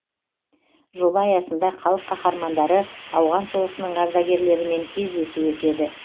жоба аясында халық қаһармандары ауған соғысының ардагерлерімен кездесу өтеді